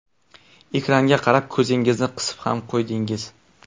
Ekranga qarab ko‘zingizni qisib ham qo‘ydingiz.